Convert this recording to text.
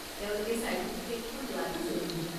তেওঁলোকে চাৰ্টিফিকেটখন লোৱাটো জৰুৰী।